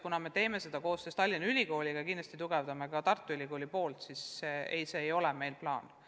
Kuna me teeme seda koostöös Tallinna Ülikooliga ja kindlasti tugevdame ka Tartu Ülikooli panust, siis ei, kvalifikatsiooninõuete vähendamine ei ole meil plaanis.